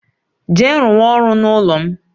Jee rụ wa ọrụ n'ụlọ m